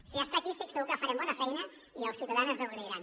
si ja està aquí estic segur que farem bona feina i els ciutadans ens ho agrairan